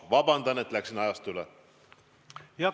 Vabandust, et läksin ajast üle!